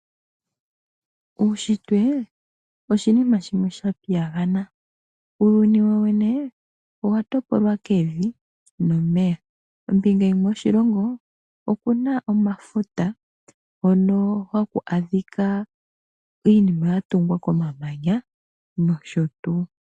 Uushitwe oshinima shimwe sha piyagana. Uuyuni wowene owa topolwa kevi nomeya, kombinga yimwe yoshilongo okuna omafuta hono haku adhika iinima yatungwa komamanya nosho tuu.